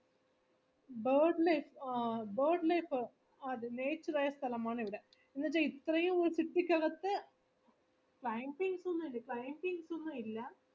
സ്ഥലമാണിവിടെ എന്നവെച്ച ഇത്രേം city ക്കകത്തു ഇല്ല